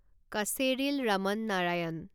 Kocheril Raman Narayanan